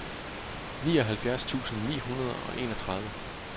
nioghalvfjerds tusind ni hundrede og enogtredive